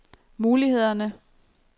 mulighederne